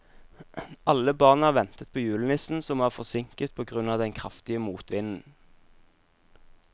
Alle barna ventet på julenissen, som var forsinket på grunn av den kraftige motvinden.